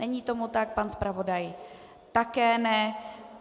Není tomu tak, pan zpravodaj také ne.